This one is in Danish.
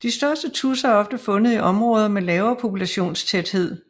De største tudser er ofte fundet i områder med lavere populationstæthed